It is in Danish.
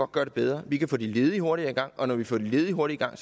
gøre det bedre vi kan få de ledige hurtigere i gang og når vi får de ledige hurtigere i